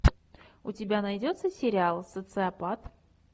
у тебя найдется сериал социопат